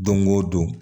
Don o don